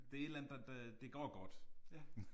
Det er et eller andet der det det går godt